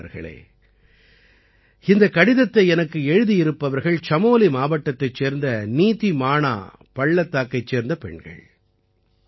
நண்பர்களே இந்தக் கடிதத்தை எனக்கு எழுதியிருப்பவர்கள் சமோலி மாவட்டத்தைச் சேர்ந்த நீதிமாணா பள்ளத்தாக்கைச் சேர்ந்த பெண்கள்